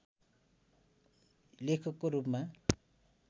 लेखकको रूपमा